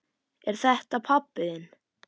Er þetta pabbi þinn?